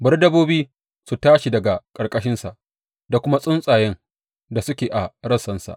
Bari dabbobi su tashi daga ƙarƙashinsa da kuma tsuntsayen da suke a rassansa.